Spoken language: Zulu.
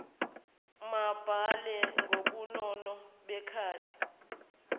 mababhale ngobunono bekati